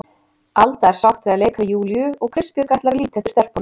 Alda er sátt við að leika við Júlíu og Kristbjörg ætlar að líta eftir stelpunum.